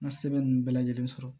N ka sɛbɛn ninnu bɛɛ lajɛlen sɔrɔ